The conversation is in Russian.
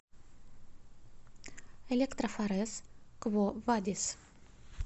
электрофорез кво вадис